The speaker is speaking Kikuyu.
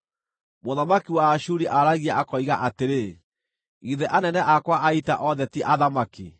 Mũthamaki wa Ashuri aaragia, akoiga atĩrĩ, ‘Githĩ anene akwa a ita othe ti athamaki?